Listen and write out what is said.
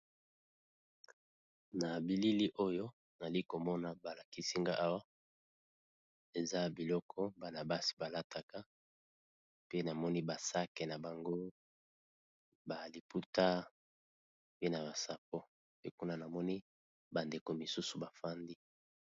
Na bilili oyo nali komona balakisinga awa eza biloko bana basi balataka pe na moni ba sac na bango ba liputa pe na ba sapo pe kuna namoni ba ndeko misusu bafandi.